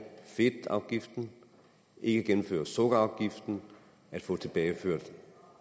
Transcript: fedtafgiften ikke indføre sukkerafgiften at få tilbageført